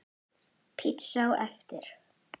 Pizza á eftir.